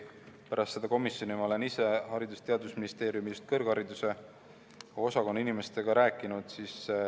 Pärast seda komisjoni istungit ma olen ise Haridus- ja Teadusministeeriumi kõrghariduse osakonna inimestega rääkinud.